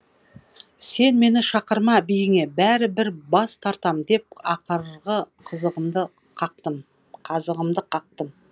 сен мені шақырма биіңе бәрі бір бас тартам деп ақырғы қазығымды қақтым